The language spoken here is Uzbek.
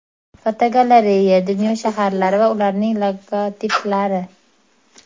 Fotogalereya: Dunyo shaharlari va ularning logotiplari.